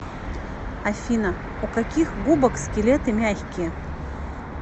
афина у каких губок скелеты мягкие